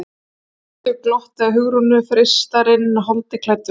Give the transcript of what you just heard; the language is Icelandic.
spilltu glotti að Hugrúnu, freistarinn holdi klæddur.